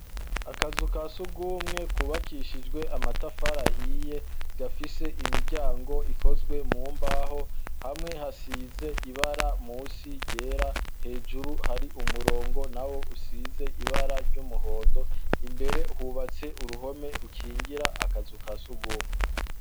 Akazu kasugumwe kubakishijwe amatafari ahiye gafise imiryango ikozwe mu mbaho, hamwe hasize ibara munsi ryera, hejuru hari umurongo nawo usize ibara ry'umuhondo, imbere hubatse uruhome rukigira akazu kasugumwe.